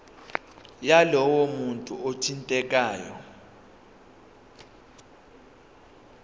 yalowo muntu othintekayo